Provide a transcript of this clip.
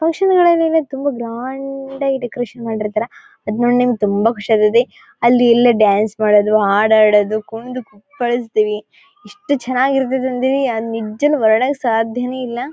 Function ಗಳಲ್ಲಿ ತುಂಬಾ grand ಆಗಿ ಡೆಕೋರೇಷನ್ ಮಾಡಿರ್ತ್ತರ ಅಡಿನೋಡಿ ನನ್ಗೆ ತುಂಬಾ ಖುಷಿಯಾಗ್ತತ್ತಿ ಅಲ್ಲಿ ಎಲ್ಲ ಡಾನ್ಸ್ ಮಾಡೋದು ಹಾಡು ಹಾಡೋದು ಕುಂಡು ಕುಪ್ಪಳಿಸತ್ತೀವಿ ಎಷ್ಟು ಚೆನ್ನಾಗ್ ಇರ್ತ್ತದೆ ಅಂತೀನಿ ನಿಜ್ವಾಗ್ಲೂ ವರ್ಣಿಸೋಕ್ಕೆ ಸಾಧ್ಯನೇ ಇಲ್ಲ .